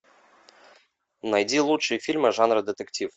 найди лучшие фильмы жанра детектив